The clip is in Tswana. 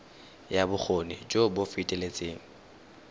ya bokgoni jo bo feteletseng